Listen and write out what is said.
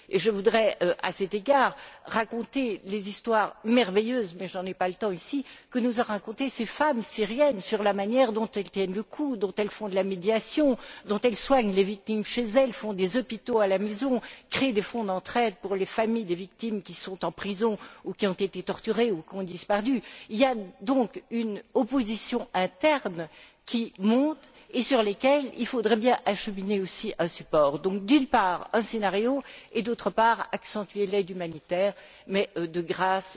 Je voudrais, à cet égard, raconter les histoires merveilleuses mais je n'en ai pas le temps ici que nous ont racontées ces femmes syriennes sur la manière dont elles tiennent le coup, dont elles font de la médiation, dont elles soignent les victimes chez elles, font des hôpitaux à la maison, créent des fonds d'entraide pour les familles des victimes qui sont en prison, qui ont été torturées ou qui ont disparu. Il y a donc une opposition interne qui monte, et à laquelle il faudrait aussi acheminer une aide. Il faut donc, d'une part, élaborer un scénario et, d'autre part, renforcer l'aide humanitaire, mais de grâce